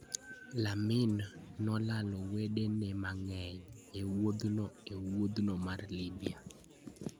Lamin nolalo wedene mang'eny e wuodhno e wuothno mar Libya: